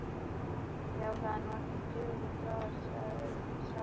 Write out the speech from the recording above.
Já, það er nú ekkert dularfullt við það, sagði sá rauðhærði.